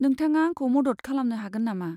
नोंथाङा आंखौ मदद खालामनो हागो नामा?